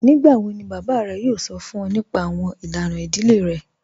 Nígbàwọ̀ ni bàbá rẹ̀ yóò sọ̀ fún ọ̀ nípà awọn ilànà ìdílé rẹ̀?